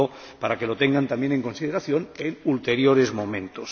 Lo digo para que lo tengan también en consideración en ulteriores momentos.